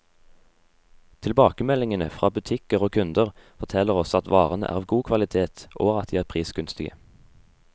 Tilbakemeldingene fra butikker og kunder, forteller oss at varene er av god kvalitet, og at de er prisgunstige.